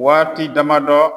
Waati damadɔ